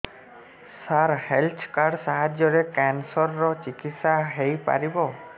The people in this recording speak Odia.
ସାର ହେଲ୍ଥ କାର୍ଡ ସାହାଯ୍ୟରେ କ୍ୟାନ୍ସର ର ଚିକିତ୍ସା ହେଇପାରିବ